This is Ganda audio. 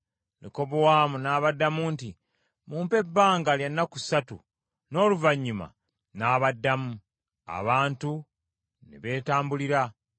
Lekobowaamu n’abaddamu nti, “Mumpe ebbanga lya nnaku ssatu, n’oluvannyuma nnaabaddamu.” Abantu ne beetambulira.